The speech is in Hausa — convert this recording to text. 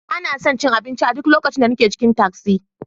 Ba na son cin abinci a duk lokacin da nake cikin tasi.